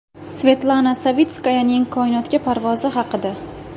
Svetlana Savitskayaning koinotga parvozi haqida.